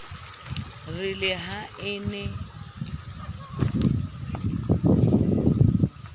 re le ha e ne